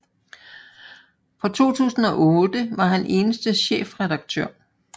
Fra 2008 var han eneste chefredaktør